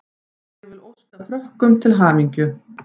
Ég vil óska Frökkum til hamingju.